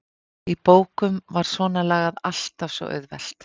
Í bókum var svonalagað alltaf svo auðvelt.